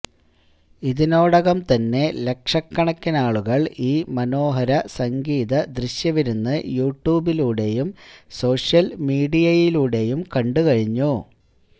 ഇതിനോടകം തന്നെ ലക്ഷക്കണക്കിനാളുകൾ ഈ മനോഹര സംഗീത ദൃശ്യവിരുന്നു യുട്യൂബിലൂടെയും സോഷ്യൽ മീഡിയയിലൂടെയും കണ്ടുകഴിഞ്ഞു